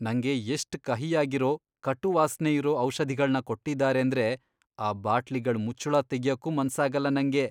ನಂಗೆ ಎಷ್ಟ್ ಕಹಿಯಾಗಿರೋ, ಕಟು ವಾಸ್ನೆ ಇರೋ ಔಷಧಿಗಳ್ನ ಕೊಟ್ಟಿದಾರೇಂದ್ರೆ ಆ ಬಾಟ್ಲಿಗಳ್ ಮುಚ್ಚುಳ ತೆಗ್ಯಕ್ಕೂ ಮನ್ಸಾಗಲ್ಲ ನಂಗೆ.